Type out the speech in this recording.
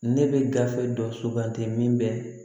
Ne bɛ gafe dɔ suganti min bɛ